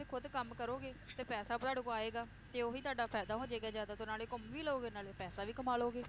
ਖੁਦ ਕੰਮ ਕਰੋਗੇ ਤੇ ਪੈਸਾ ਤੁਹਾਡੇ ਕੋਲ ਆਏਗਾ, ਤੇ ਓਹੀ ਤੁਹਾਡਾ ਫਾਇਦਾ ਹੋ ਜਾਏਗਾ ਜ਼ਿਆਦਾ ਤੇ ਨਾਲੇ ਘੁੰਮ ਵੀ ਲਵੋਗੇ ਨਾਲੇ ਪੈਸਾ ਵੀ ਕਮਾ ਲਓਗੇ,